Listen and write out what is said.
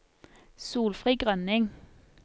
Solfrid Grønning